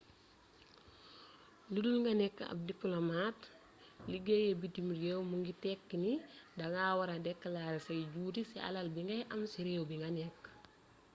ludul nga nekk ab dipolomat liggéeyee bitim réew mu ngi tekki ni da nga wara dekalaare say juuti ci alal bi ngay am ci réew bi nga nekk